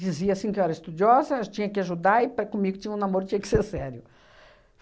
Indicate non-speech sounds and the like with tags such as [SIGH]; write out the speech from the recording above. Dizia, assim, que eu era estudiosa, tinha que ajudar e para comigo tinha um namoro, tinha que [LAUGHS] ser sério.